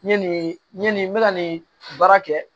N ye nin n bɛ ka nin baara kɛ